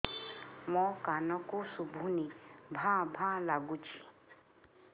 ମୋ କାନକୁ ଶୁଭୁନି ଭା ଭା ଲାଗୁଚି